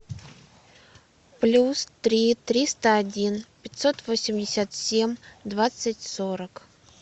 плюс три триста один пятьсот восемьдесят семь двадцать сорок